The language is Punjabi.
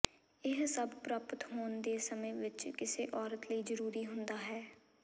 ਇਹ ਸਭ ਪ੍ਰਪਾਤ ਹੋਣ ਦੇ ਸਮੇਂ ਵਿੱਚ ਕਿਸੇ ਔਰਤ ਲਈ ਜ਼ਰੂਰੀ ਹੁੰਦਾ ਹੈ